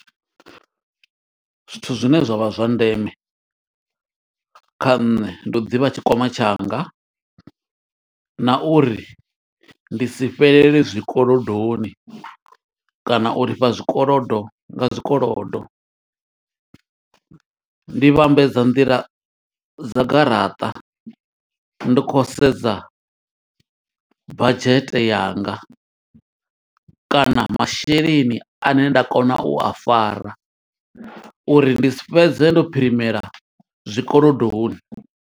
Zwithu zwine zwa vha zwa ndeme kha nṋe, ndi u ḓivha tshikwama tshanga, na uri ndi si fhelele zwikolodoni, kana u lifha zwikolodo nga zwikolodo. Ndi vhambedza nḓila dza garaṱa, ndi khou sedza badzhete yanga, kana masheleni ane nda kona u a fara, uri ndi si fhedze ndo phirimela zwikolodoni.